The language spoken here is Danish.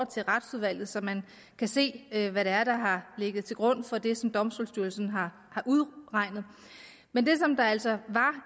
til retsudvalget så man kan se hvad der der har ligget til grund for det som domstolsstyrelsen har udregnet men det der altså var